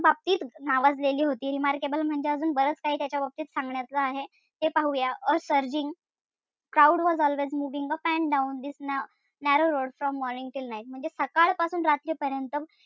बाबतीत नावाजलेली होती remarkable म्हणजे अजून बरच काही त्याच्या बाबतीत सांगण्याचं आहे ते पाहू या. a surging crowd was always moving up and down this narrow road from morning till night म्हणजे सकाळ पासून रात्री पर्यंत,